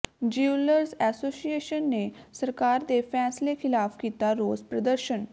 jewellers association ਨੇ ਸਰਕਾਰ ਦੇ ਫ਼ੈਸਲੇ ਖਿਲਾਫ਼ ਕੀਤਾ ਰੋਸ ਪ੍ਰਦਰਸ਼ਨ